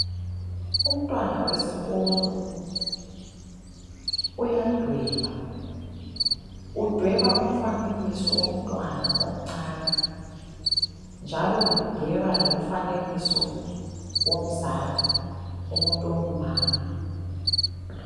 Umntwana wesikolo uyadweba. Udweba umfanekiso womntwana omncane njalo udweba lomfanekiso womzali, umuntu ongumama.